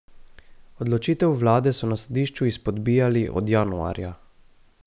Odločitev vlade so na sodišču izpodbijali od januarja.